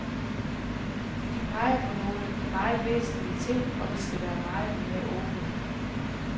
De peger på nogle meget væsentlige ting, og vi skal være meget mere åbne.